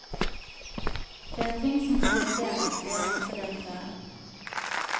Det er ting som kan vurderes, sier helsedirektøren.